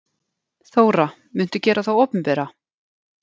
Þóra: Muntu gera þá opinbera?